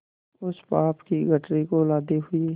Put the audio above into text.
उस पाप की गठरी को लादे हुए